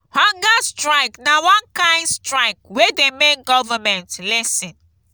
hunger strike na one kain strike wey dey make government lis ten